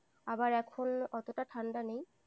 আবার এখন অতটা ঠান্ডা নেই।